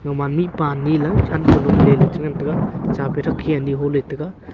ama mihpa anyi ley than ka lom ley che ngan taiga chapi thakkhi anyi aho ley taiga.